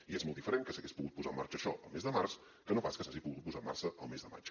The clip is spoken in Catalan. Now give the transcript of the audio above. i és molt diferent que s’hagués pogut posar en marxa això el mes de març que no pas que s’hagi pogut posar en marxa el mes de maig